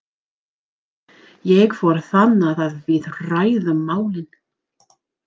Ég fór þangað og við ræddum málin.